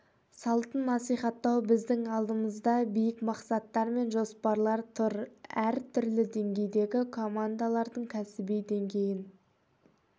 салтын насихаттау біздің алдымызда биік мақсаттар мен жоспарлар тұр әр түрлі деңгейдегі командалардың кәсіби деңгейін